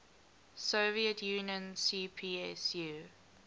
soviet union cpsu